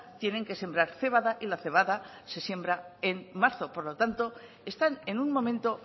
tienen que sembrar cebada y la cebada se siembre en marzo por lo tanto están en un momento